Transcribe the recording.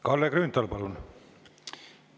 Kalle Grünthal, palun!